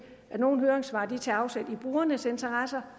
at nogle af høringssvarene tager afsæt i brugernes interesser